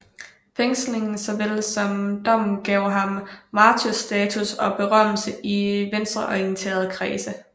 Fængslingen såvel som dommen gav ham martyrstatus og berømmelse i venstreorienterede kredse